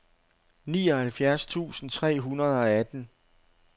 nioghalvfjerds tusind tre hundrede og atten